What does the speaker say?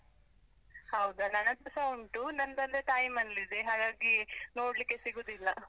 ಹೌದಾ, ನನ್ ಹತ್ರಸ ಉಂಟು ನಂದ್ ಅಂದ್ರೆ ತಾಯಿ ಮನೆಯಲ್ಲಿದೆ, ಹಾಗಾಗಿ ನೋಡ್ಲಿಕ್ಕೆ ಸಿಗುದಿಲ್ಲ.